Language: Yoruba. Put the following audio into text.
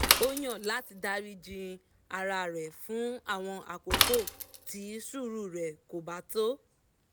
ó yàn láti dáríji ara rẹ̀ fún àwọn àkókò tí sùúrù rẹ̀ kò bá tó